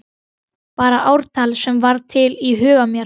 Bara ártal sem varð til í huga mér.